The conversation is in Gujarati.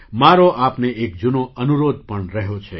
મારો આપને એક જૂનો અનુરોધ પણ રહ્યો છે